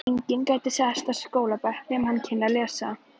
Enginn gæti sest á skólabekk nema hann kynni að lesa.